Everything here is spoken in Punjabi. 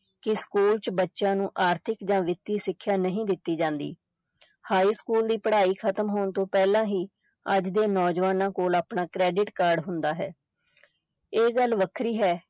ਕਿ ਸਕੂਲ ਚ ਬੱਚਿਆਂ ਨੂੰ ਆਰਥਿਕ ਜਾਂ ਵਿਤੀ ਸਿਖਿਆ ਨਹੀਂ ਦਿਤੀ ਜਾਂਦੀ ਹਾਈ ਸਕੂਲ ਦੀ ਪੜ੍ਹਾਈ ਖਤਮ ਹੋਣ ਤਾਂ ਪਹਿਲਾਂ ਹੀ ਅੱਜ ਦੇ ਨੌਜਵਾਨਾਂ ਕੋਲ ਆਪਣਾ credit card ਹੁੰਦਾ ਹੈ ਇਹ ਗੱਲ ਵੱਖਰੀ ਹੈ